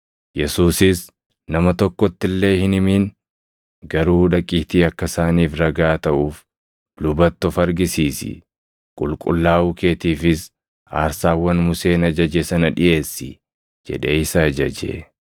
Yesuusis, “Nama tokkotti illee hin himin; garuu dhaqiitii akka isaaniif ragaa taʼuuf lubatti of argisiisi; qulqullaaʼuu keetiifis aarsaawwan Museen ajaje sana dhiʼeessi” jedhee isa ajaje.